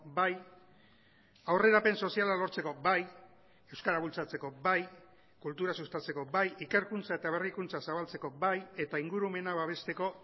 bai aurrerapen soziala lortzeko bai euskara bultzatzeko bai kultura sustatzeko bai ikerkuntza eta berrikuntza zabaltzeko bai eta ingurumena babesteko